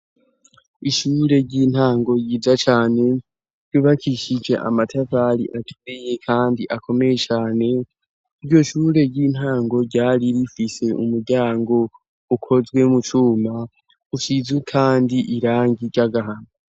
Ishure ry'intango yiza cane yubakishije amatavali atumeye, kandi akomeye cane iryo shure ry'intango ryari rifise umuryango ukozwe mu cuma ushize, kandi irangi ryo agahana.